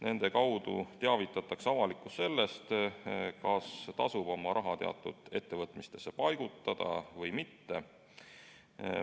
Nende kaudu teavitatakse avalikkust sellest, kas tasub oma raha teatud ettevõtmistesse paigutada või mitte.